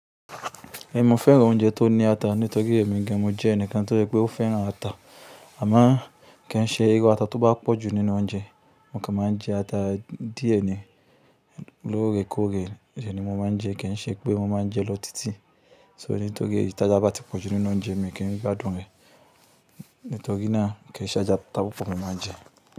Ẹ mò fẹ́ràn oúnjẹ tó ní ata nítorí èmi gan mo jẹ́ ẹnìkan tó rí pé ó fẹ́ràn ata. Àmọ kàn ṣe irú ata tó bá pọ̀jù nínú oúnjẹ, mo kàn máa jẹ ata díẹ̀ ni lóore kóore rẹ ni mo máa ń jẹ kìí ṣe pé mo máa ń jẹ lọ títì. So nítorí tí ata bá ti pọ̀ jù nínú oúnjẹ èmi kìí gbádùn rẹ̀ nítorí náà kìí ṣe ajá ta pu pọ̀ mo máa ń jẹ.